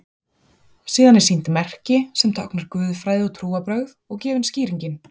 síðan er sýnt merki sem táknar „guðfræði og trúarbrögð“ og gefin skýringin